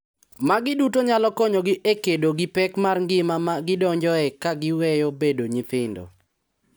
Magi duto nyalo konyogi e kedo gi pek mar ngima ma gidonjoe ka giweyo bedo nyithindo.